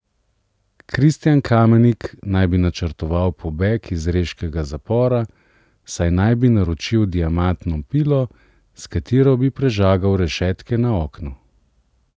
Kristijan Kamenik naj bi načrtoval pobeg iz reškega zapora, saj naj bi naročil diamantno pilo, s katero bi prežagal rešetke na oknu.